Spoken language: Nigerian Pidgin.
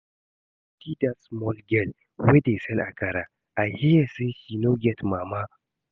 I dey pity dat small girl wey dey sell akara, I hear say she no get mama